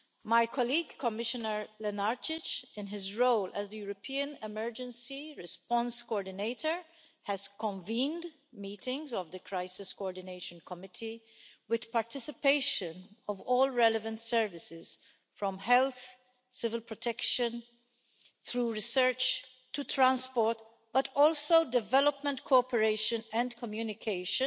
My colleague Commissioner Lenarčič, in his role as the European Emergency Response Coordinator, has convened meetings of the Crisis Coordination Committee with the participation of all relevant services, from health, civil protection, through research to transport, but also development cooperation and communication,